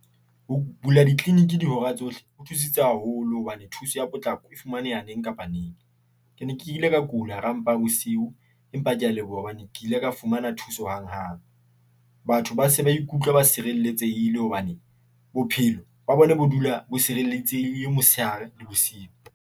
Ho bula di - clinic dihora tsohle ho thusitse haholo hobane thuso ya potlako e fumaneha neng kapa neng. Ke ne ke ile ka kula hara mpa ya bosiu, empa ke a leboha hobane ke ile ka fumana thuso hanghang. Batho ba se ba ikutlwa ba sireletsehile hobane bophelo ba bona bo dula bo tshireletsehile, motshehare le bosiu.